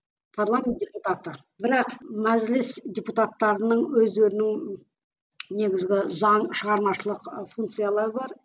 парламент депутаты бірақ мәжіліс депутаттарының өздерінің негізгі заң шығармашылық ы функциялары бар